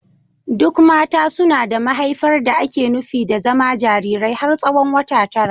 Duk mata suna da mahaifar da ake nufi da zama jarirai har tsawon wata tara.